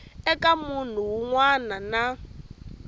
eka munhu wun wana na